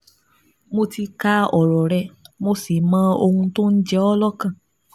Mo ti ka ọ̀rọ̀ rẹ, mo sì mọ ohun tó ń jẹ ọ́ lọ́kàn